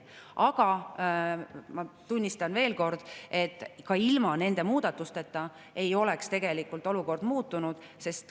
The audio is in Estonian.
Aga ma veel kord, et ka ilma nende muudatusteta ei oleks olukord muutunud.